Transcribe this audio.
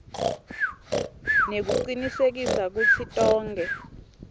nekucinisekisa kutsi tonkhe